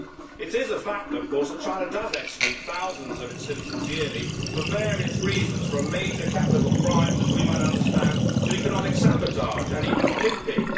It is a fact, of course, that China does execute thousands of its citizens yearly for various reasons from major capital crimes something we might find understandable to economic sabotage and even pimping.